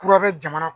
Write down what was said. Kura bɛ jamana